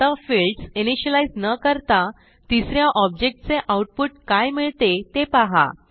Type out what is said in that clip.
आता fields initialise न करता तिस या ऑब्जेक्ट चे आऊटपुट काय मिळते ते पाहा